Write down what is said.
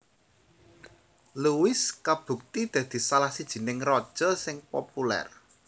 Louis kabukti dadi salah sijining raja sing populer